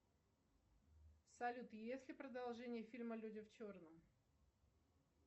салют есть ли продолжение фильма люди в черном